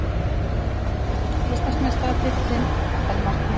Íslandsmeistaratitillinn er markmiðið